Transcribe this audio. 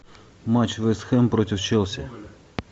матч вест хэм против челси